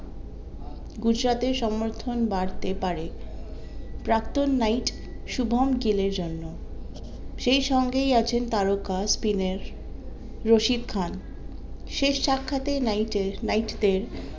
গুজরাটের সমর্থন বাড়তে পারে প্রাক্তন নাইট শুভম গিলের জন্য। সেই সঙ্গেই আছেন তারকা স্পিনের রশিদ খান শেষ সাক্ষাতে নাইটে নাইট দের